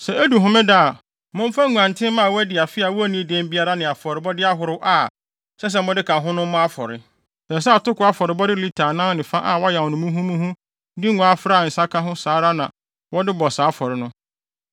“ ‘Sɛ edu homeda a, momfa nguantenmma a wɔadi afe a wonnii dɛm biara ne afɔrebɔde ahorow a ɛsɛ sɛ mode ka ho no mmɔ afɔre. Ɛsɛ sɛ atoko afɔrebɔde lita anan ne fa a wɔayam no muhumuhu de ngo afra a nsa ka ho saa ara na wɔde bɔ saa afɔre no.